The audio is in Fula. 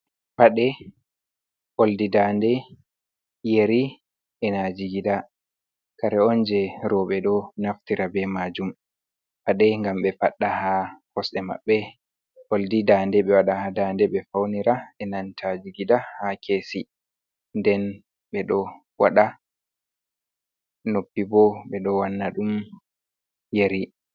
Paɗe, ɓoldi nda de, yeri,q e na jigida. Kare on je rowɓe ɗo naftira be majum. Paɗe ngam ɓe fadda haa kosɗe maɓɓe, ɓoldi nda de ɓe waɗa haa nda de ɓe faunira, e nanta jigida haa kesi, nden ɓe ɗo waɗa noppi bo ɓe ɗo wanna ɗum yeri.